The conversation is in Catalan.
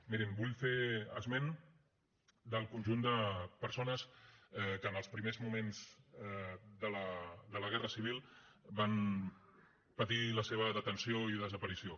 mirin vull fer esment del conjunt de persones que en els primers moments de la guerra civil van patir la seva detenció i desaparició